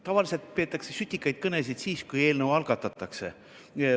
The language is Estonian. Tavaliselt peetakse sütitavaid kõnesid siis, kui eelnõu algatatakse.